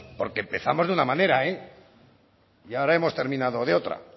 porque empezamos de una manera y ahora hemos terminado de otra